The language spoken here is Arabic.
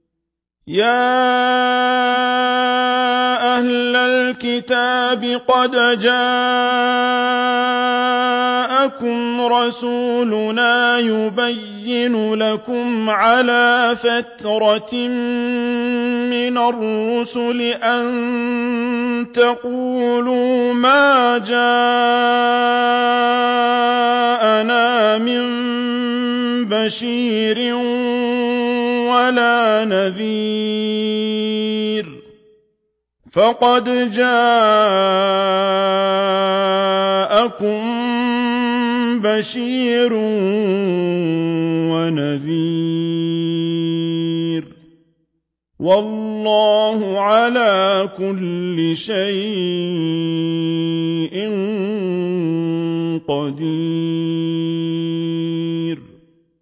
يَا أَهْلَ الْكِتَابِ قَدْ جَاءَكُمْ رَسُولُنَا يُبَيِّنُ لَكُمْ عَلَىٰ فَتْرَةٍ مِّنَ الرُّسُلِ أَن تَقُولُوا مَا جَاءَنَا مِن بَشِيرٍ وَلَا نَذِيرٍ ۖ فَقَدْ جَاءَكُم بَشِيرٌ وَنَذِيرٌ ۗ وَاللَّهُ عَلَىٰ كُلِّ شَيْءٍ قَدِيرٌ